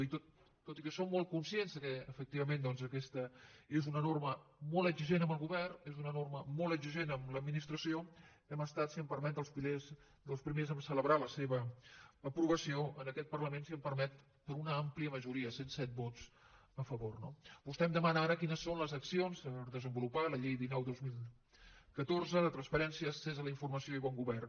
i tot i que som molt conscients que efectivament doncs aquesta és una norma molt exigent amb el govern és una norma molt exigent amb l’administració hem estat si em permet dels primers a celebrar la seva aprovació en aquest parlament si em permet per una àmplia majoria cent i set vots a favor no vostè em demana ara quines són les accions per desenvolupar la llei dinou dos mil catorze de transparència accés a la informació i bon govern